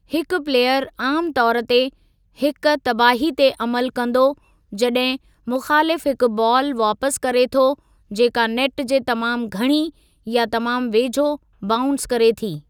हिक प्लेयर आमु तौरु ते हिकु तबाही ते अमलु कंदो जॾहिं मुख़ालिफ़ु हिकु बालु वापसि करे थो जेका नेट जे तमामु घणी या तमामु वेझो बाउंस करे थी।